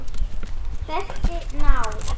Þessi ná